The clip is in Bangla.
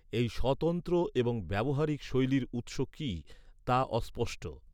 এই স্বতন্ত্র এবং ব্যবহারিক শৈলীর উৎস কী, তা অস্পষ্ট।